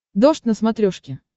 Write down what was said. дождь на смотрешке